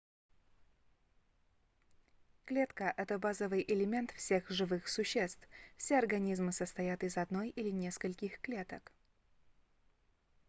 клетка это базовый элемент всех живых существ все организмы состоят из одной или нескольких клеток